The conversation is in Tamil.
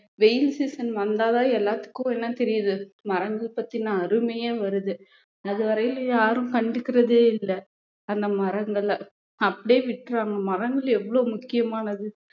வெயில் season வந்தா தான் எல்லாத்துக்கும் என்ன தெரியுது மரங்கள் பத்தின அருமையே வருது அது வரையிலும் யாரும் கண்டுக்கறதே இல்ல அந்த மரங்களை அப்படியே விட்டுறாங்க மரங்கள் எவ்வளவு முக்கியமானது